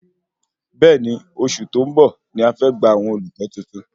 Bẹẹni, oṣù tó ń bọ̀ ní a fe gba àwọn olùkọ tuntun